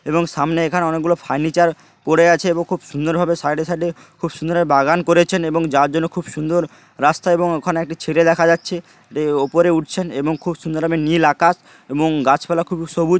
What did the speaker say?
এবং সামনে এখানে অনেকগুলো ফার্নিচার পড়ে আছে এবং খুব সুন্দরভাবে সাইড -এ সাইড -এ খুব সুন্দর বাগান করেছেন এবং যার জন্য খুব সুন্দর রাস্তা এবং ওখানে একটি ছেলে দেখা যাচ্ছে ওপরে উঠছেন এবং খুব সুন্দরভাবে নীল আকাশ এবং গাছপালা খুবই সবুজ ।